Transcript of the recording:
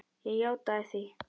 Ég játaði því.